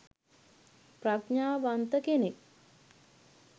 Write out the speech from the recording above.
ප්‍රඥාවන්ත කෙනෙක්.